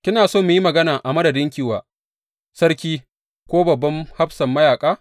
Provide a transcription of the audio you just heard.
Kina so mu yi magana a madadinki wa sarki ko babban hafsan mayaƙa?’